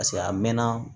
a mɛnna